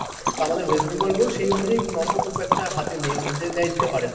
আমাদের West Bengal board সেই অনুযায়ী number খুব একটা হাতে নেই দেয় দিতে পারে না।